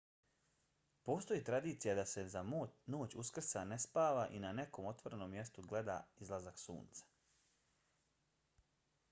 postoji tradicija da se za noć uskrsa ne spava i na nekom otvorenom mjestu gleda izlazak sunca